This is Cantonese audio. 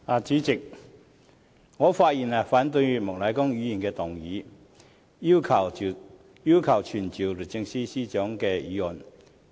主席，我發言反對莫乃光議員動議要求傳召律政司司長的議案。